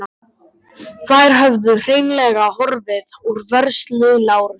Þær höfðu hreinlega horfið úr vörslu Lárusar.